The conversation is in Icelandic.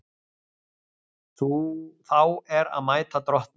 Þá er að mæta drottni.